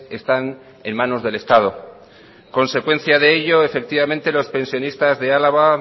están en manos del estado consecuencia de ello efectivamente los pensionistas de álava